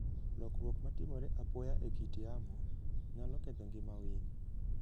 Lokruok ma timore apoya e kit yamo, nyalo ketho ngima winy.